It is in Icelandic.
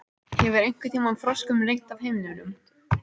Hefur einhverntíma froskum rignt af himninum?